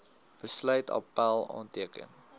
besluit appèl aanteken